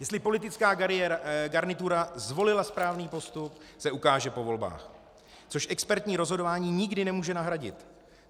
Jestli politická garnitura zvolila správný postup, se ukáže po volbách, což expertní rozhodování nikdy nemůže nahradit.